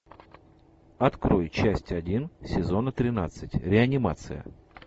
открой часть один сезона тринадцать реанимация